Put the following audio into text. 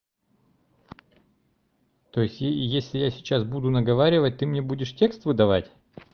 то есть если я сейчас буду наговаривать ты мне будешь текст выдавать